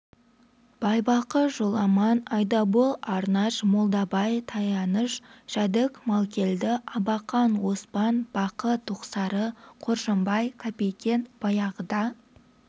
байбақы жоламан айдабол арнаш молдабай таянышбай жәдік малкелді абақан оспан бақы тоқсары қоржынбай капикен баяғыда